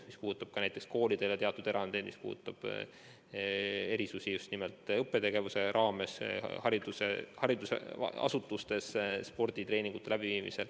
See puudutab ka koolidele ja muudele haridusasutustele tehtud erandeid, erisusi just nimelt õppetegevuses, samuti sporditreeningute läbiviimist.